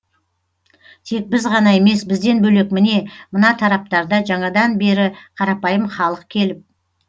тек біз ғана емес бізден бөлек міне мына тараптарда жаңадан бері қарапайым халық келіп